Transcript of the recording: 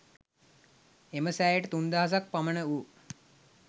එම සෑයට තුන් දහසක් පමණ වූ